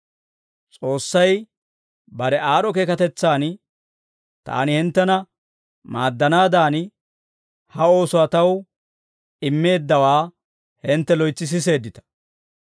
S'oossay bare aad'd'o keekatetsan, taani hinttena maaddanaadan, ha oosuwaa taw immeeddawaa hintte loytsi siseeddita.